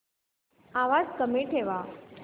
आवाज कमी ठेवा